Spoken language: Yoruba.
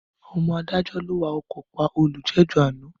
Ọmọ adájọ́ ló wa ọkọ̀ pa olùjẹ́jọ́ àná.